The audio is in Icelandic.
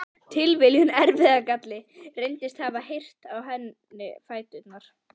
Tilviljun, erfðagalli, reyndist hafa reyrt á henni fæturna.